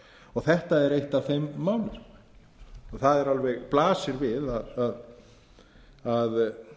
og þetta er eitt af þeim málum það blasir alveg við að